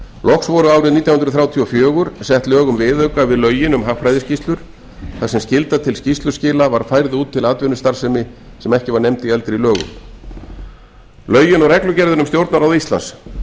loks voru árið nítján hundruð þrjátíu og fjögur sett lög um viðauka við lögin um hagfræðiskýrslur þar sem skylda til skýrsluskila var færð út til atvinnustarfsemi sem ekki var nefnd í eldri lögum lögin og reglugerðin um stjórnarráð íslands